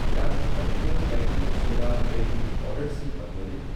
کیا ژٕ ہیکِہ کھہ بیکنگ سوڈا بیکنگ پاؤڈرِ سۭتۍ بدلٲیِتھ ؟